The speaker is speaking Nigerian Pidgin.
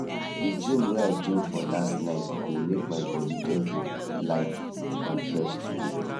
d dream wey i dream for last night dey make my body just dey light and fresh today